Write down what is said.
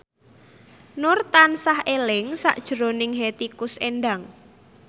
Nur tansah eling sakjroning Hetty Koes Endang